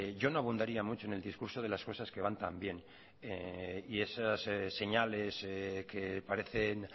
yo no abundaría mucho en el discurso de las cosas que van tan bien y esas señales que parecen